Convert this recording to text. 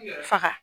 Faga